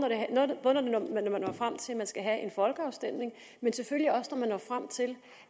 man når frem til at man skal have folkeafstemning men selvfølgelig også når man når frem til